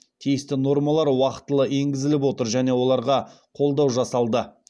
тиісті нормалар уақытылы егізіліп отыр және оларға қолдау жасалды